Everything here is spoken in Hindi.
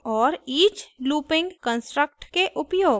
for लूप के उपयोग और each लूपिंग कन्स्ट्रक्ट के उपयोग